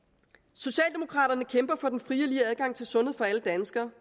socialdemokraterne kæmper for den frie og lige adgang til sundhed for alle danskere